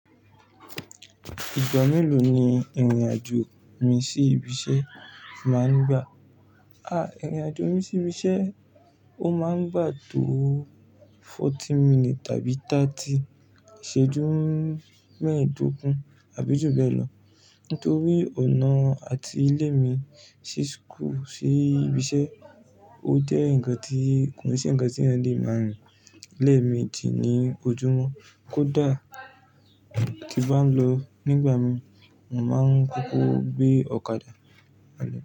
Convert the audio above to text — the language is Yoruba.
Ìgbà mélòó ni ìrìn-àjò rẹ sí ibi iṣẹ́ máa ń gbà? À, ìrìn-àjò mi sí ibi iṣẹ́ ó máa ń gbà tó forty minutes tàbí táàti ìṣẹ́jú mẹ́ẹ̀dógún àbí jù bẹ́ẹ̀ lọ nítorí ọ̀nà àti ilé mi sí school, sí ibi iṣẹ́ ó jẹ́ ǹkan tí kò sí ǹkan tí ǹkan tí èèyàn lè máa rìn. Ilé mi ti ní ojúmọ́ kó dà tí bà ń lọ nígbà mìí, mò máa ń kókó gbé ọ̀kadà.